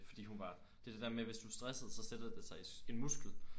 Fordi hun var det det der med hvis du er stresset så sætter det sig i en muskel